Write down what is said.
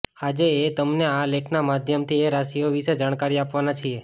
આજે એ તમને આ લેખના માધ્યમથી એ રાશિઓ વિષે જાણકારી આપવાના છીએ